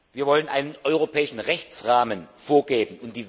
Wir wollen einen europäischen Rechtsrahmen vorgeben.